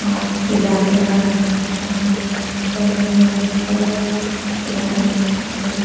और पीला कलर आसमानी कलर मेहरून कलर कलर सभी --